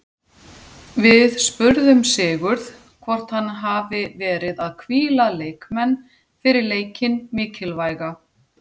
Við spurðum Sigurð hvort hann hafi verið að hvíla leikmenn fyrir leikinn mikilvæga?